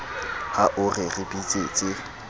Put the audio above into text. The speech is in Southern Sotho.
ha o re re bitsetse